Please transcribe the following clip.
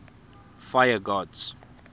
fire gods